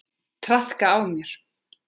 Traðka á mér!